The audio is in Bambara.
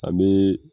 An bee